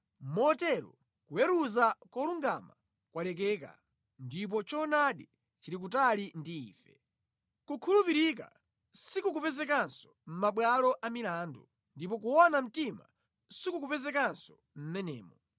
Motero kuweruza kolungama kwalekeka ndipo choonadi chili kutali ndi ife; kukhulupirika sikukupezekanso mʼmabwalo a milandu, ndipo kuona mtima sikukupezekanso mʼmenemo.